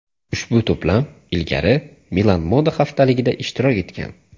Ushbu to‘plam ilgari Milan moda haftaligida ishtirok etgan.